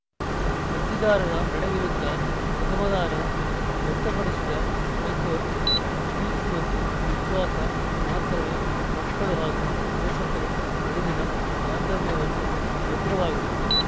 ಅರ್ಜಿದಾರರ ನಡೆ ವಿರುದ್ಧ ಅಸಮಾಧಾನ ವ್ಯಕ್ತಪಡಿಸಿದ ಹೈಕೋರ್ಟ್‌ ಪ್ರೀತಿ ಮತ್ತು ವಿಶ್ವಾಸ ಮಾತ್ರವೇ ಮಕ್ಕಳು ಹಾಗೂ ಪೋಷಕರು ನಡುವಿನ ಬಾಂಧವ್ಯವನ್ನು ಭದ್ರವಾಗಿಡುತ್ತದೆ